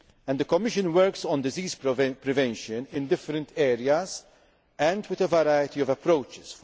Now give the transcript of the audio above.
affect women. The Commission works on disease prevention in different areas and with a variety